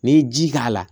N'i ye ji k'a la